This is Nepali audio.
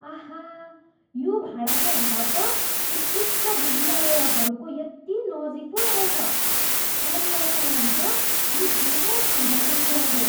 आहा, यो भाडाको घर त उत्कृष्ट विद्यालयहरूको यति नजिक पो रहेछ। परिवारका लागि त यो ठुलो फाइदाको कुरा हो।